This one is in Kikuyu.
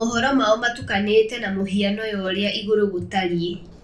Mohoro mao matukanĩte na mũhiano ya ũrĩa igũrũ gũtariĩ.